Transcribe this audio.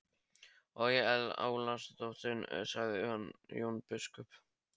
Og ég álasa drottni, sagði Jón biskup.